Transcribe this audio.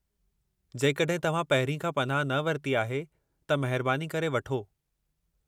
जेकॾहिं तव्हां पहिरीं खां पनाह न वरिती आहे, त महिरबानी करे वठो।